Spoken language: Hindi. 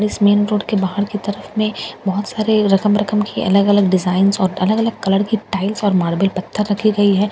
इस मेन रोड के बाहर की तरफ में बहुत सारे रकम-रकम की अलग-अलग डिजाइनज़ और अलग-अलग कलर्ड की टाईल्स और मार्बल पत्थर रखी गई है जैसे के --